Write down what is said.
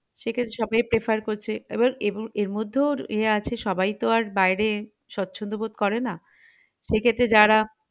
সেক্ষেত্রে সবাই prefer করছে এবার ~এবার এরমধ্যেও ইয়ে আছে সবাই তো আর বাইরে সবছন্ধ বোধ করেনা সেক্ষেত্রে যারা